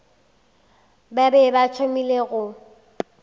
ba be ba thomile go